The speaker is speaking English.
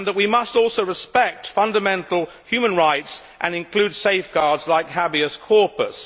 We must also respect fundamental human rights and include safeguards like habeas corpus